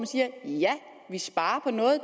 siger ja vi sparer på noget